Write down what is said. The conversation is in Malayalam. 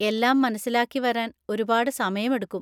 എല്ലാം മനസിലാക്കിവരാൻ ഒരുപാട് സമയമെടുക്കും.